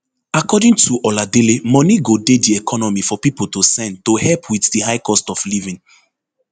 according to oladele moni go dey di economy for pipo to spend to help wit di high cost of living